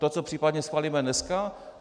To, co případně schválíme dneska?